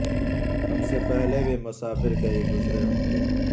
ہم سے پہلے بھی مسافر کئی گزرے ہوں گے